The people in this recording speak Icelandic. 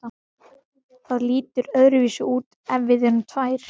Það lítur öðruvísi út ef við erum tvær.